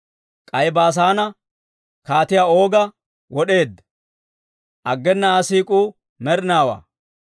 K'ay Baasaane kaatiyaa Ooga wod'eedda; aggena Aa siik'uu med'inaawaa.